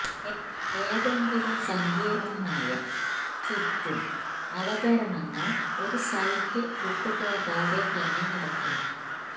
ഏതെങ്കിലും സങ്കീർണ്ണമായ ചുറ്റും അവതരണങ്ങൾ ഒരു സൈറ്റ് വിട്ടുപോകാതെ തന്നെ നടക്കുന്നു